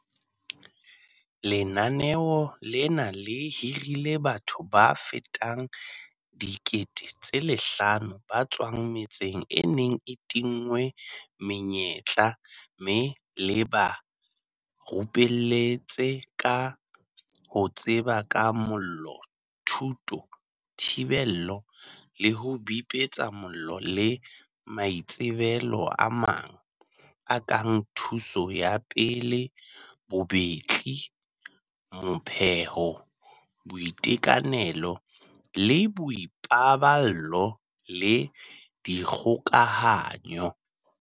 Lenaneo lena le hirile batho ba fetang 5 000 ba tswang metseng e neng e tinngwe menyetla mme le ba rupelletse ka ho tseba ka mollo, thuto, thibelo le ho bipetsa mollo le maitsebelo a mang, a kang thuso ya pele, bobetli, mo pheho, boitekanelo le boipaballo le dikgokahanyo.